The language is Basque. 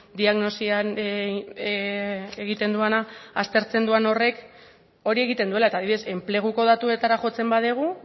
diagnosian egiten duena aztertzen duan horrek hori egiten duela eta adibidez enpleguko datuetara jotzen badugu